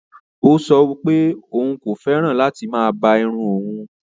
Ọ̀ sọ̀ pẹ̀ ọun kò fẹ́ràn láti má bá ìrùn ọun